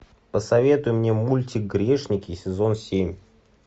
посоветуй мне мультик грешники сезон семь